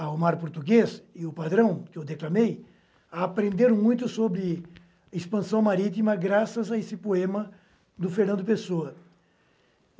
o mar português e o padrão, que eu declamei, aprenderam muito sobre expansão marítima graças a esse poema do Fernando Pessoa.